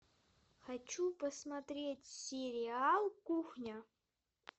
хочу посмотреть сериал кухня